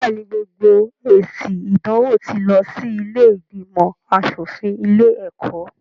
Bẹ́ẹ̀ ni, gbogbo èsì ìdánwò tí lọ sí ilé ìgbìnmọ̀ aṣọ̀fin ilé-ẹ̀kọ́.